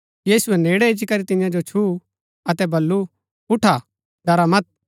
यीशुऐ नेड़ै इच्ची करी तियां जो छुंऊ अतै बल्लू उठा ड़रा मत